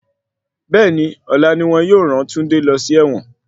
Bẹ́ẹ̀ni, ọ̀la ni wọn yóò ràn Túndé lọ sí ẹ̀wọ̀n.